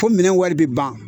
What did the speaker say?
Fo minɛn wari bɛ ban.